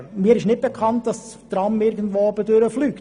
Mir ist nicht bekannt, dass das Tram oben drüber fliegt.